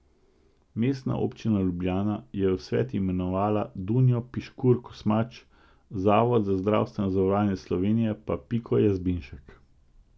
Mestna občina Ljubljana je v svet imenovala Dunjo Piškur Kosmač, Zavod za zdravstveno zavarovanje Slovenije pa Piko Jazbinšek.